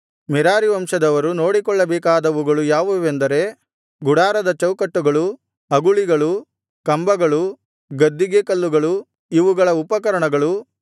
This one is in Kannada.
ಮೆರಾರೀ ವಂಶದವರು ನೋಡಿಕೊಳ್ಳಬೇಕಾದವುಗಳು ಯಾವುವೆಂದರೆ ಗುಡಾರದ ಚೌಕಟ್ಟುಗಳು ಅಗುಳಿಗಳು ಕಂಬಗಳು ಗದ್ದಿಗೆಕಲ್ಲುಗಳು ಇವುಗಳ ಉಪಕರಣಗಳು